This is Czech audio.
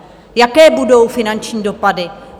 Jaké budou finanční dopady?